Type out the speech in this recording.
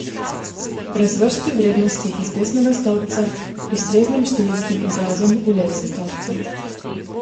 Razvrsti vrednosti iz desnega stolpca k ustreznim številskim izrazom v levem stolpcu.